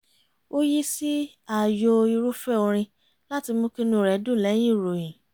ó yí sí ààyò irúfẹ́ orin láti mú kí inú rẹ̀ dùn lẹ́yìn ìròyìn